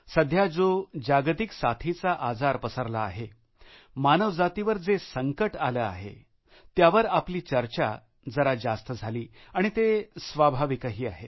सध्या जो जागतिक साथीचा आजार पसरला आहे मानवजातीवर जे संकट आलं आहे त्यावर आपली चर्चा जरा जास्त झाली आणि ते स्वाभाविकही आहे